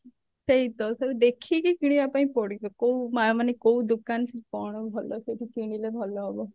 ସେଇତ ସବୁ ଦେଖିକି କିଣିବା ପାଇଁ ପଡିବ କଉ ମା ମାନେ କୋଉ ଦୋକାନ ସବୁ କଣ ଭଲ କଉଠୁ କିଣିଲେ ଭଲ ହବ